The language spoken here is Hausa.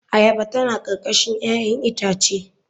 Ayaba tana karkashin 'ya'yan itace.